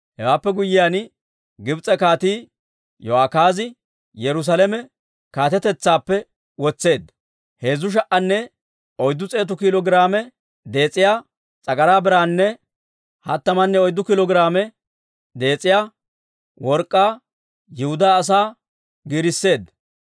Hewaappe guyyiyaan, Gibs'e kaatii Yo'akaaza Yerusaalame kaatetetsaappe wotseedda; heezzu sha"anne oyddu s'eetu kiilo giraame dees'iyaa s'agaraa biraanne hattamanne oyddu kiilo giraame dees'iyaa work'k'aa Yihudaa asaa giirisseedda.